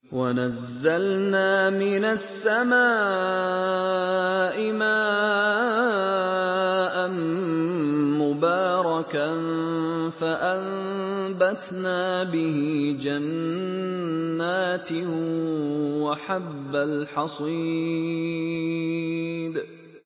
وَنَزَّلْنَا مِنَ السَّمَاءِ مَاءً مُّبَارَكًا فَأَنبَتْنَا بِهِ جَنَّاتٍ وَحَبَّ الْحَصِيدِ